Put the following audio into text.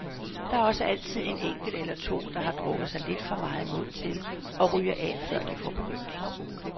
Der er også altid en enkelt eller to, der har drukket sig lidt for meget mod til og ryger af, før de får begyndt.